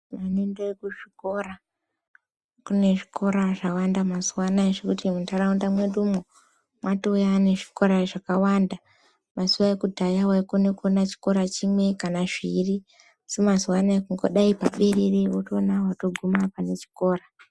Vanoende ku zvikora kune zvikora zvawanda mazuva anaya zvekuti mu ntaraunda mweduwo mwatouya ne zvikora zvakawanda mazuva ekudhaya waikona kuona chikora chimwe kana zviiri asi mazuva anaya kungodai piriri wotoona wato guma pane chikora.